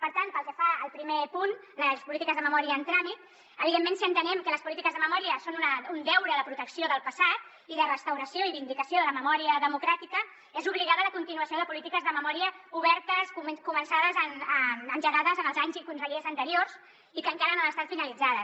per tant pel que fa al primer punt les polítiques de memòria en tràmit evidentment si entenem que les polítiques de memòria són un deure de protecció del passat i de restauració i vindicació de la memòria democràtica és obligada la continuació de polítiques de memòria obertes començades engegades en els anys i consellers anteriors i que encara no han estat finalitzades